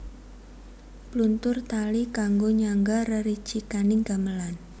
Pluntur tali kanggo nyangga rericikaning gamelan